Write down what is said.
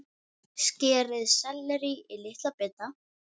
Skerið sellerí í litla bita.